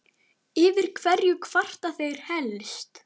Yfir hverju kvarta þeir helst?